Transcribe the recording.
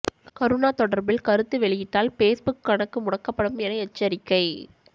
கருணா தொடர்பில் கருத்து வெளியிட்டால் பேஸ்புக் கணக்கு முடக்கப்படும் என எச்சரிக்கை